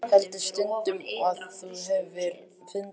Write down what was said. Heldur stundum að þú hafir fundið.